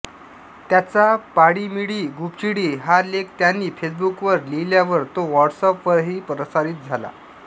त्यांचा पाळी मिळी गुपचिळी हा लेख त्यांनी फेसबुकवर लिहिल्यावर तो व्हाॅट्सएपवरही प्रसारित झाला